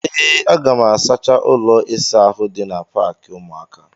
Ee, aga m asacha ụlọ ịsa ahụ dị na paakị ụmụaka.